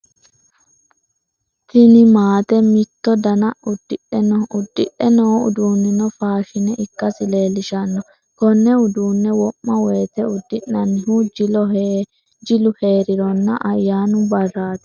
Tinni maate mitto danna udidhe no. Udidhe noo uduunnino faashine ikasi leelishano. Konne uduune wo'ma woyeete udi'nannihu jilo heerironna ayaanu baraati.